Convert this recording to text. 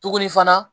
Tuguni fana